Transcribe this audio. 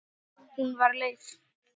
Hún var leið.